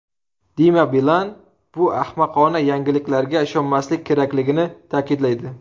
Dima Bilan bu ahmoqona yangiliklarga ishonmaslik kerakligini ta’kidlaydi.